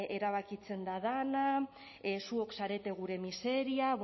erabakitzen da dana zuok zarete gure miseria